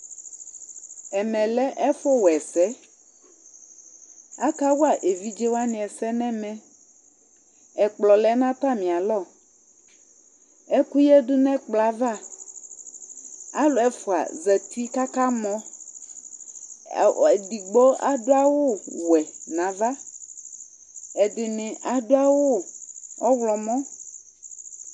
Ɛmɛ lɛ ɛfʋwa ɛsɛ Akawa evidze wanɩ ɛsɛ nʋ ɛmɛ Ɛkplɔ lɛ nʋ atamɩalɔ Ɛkʋyǝdu nʋ ɛkplɔ yɛ ava Alʋ ɛfʋa zati kʋ akamɔ A ɔ edigbo adʋ awʋwɛ nʋ ava Ɛdɩnɩ adʋ awʋ ɔɣlɔmɔ